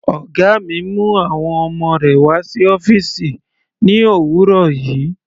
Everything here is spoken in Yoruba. Ọ̀gá mi mú àwọn ọmọ rẹ̀ wá sí ọ́fìsì ní òwúrọ̀ yìí.